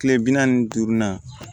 Kile bi naani ni duuru na